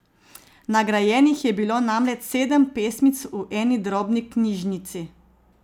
Nagrajenih je bilo namreč sedem pesmic v eni drobni knjižnici.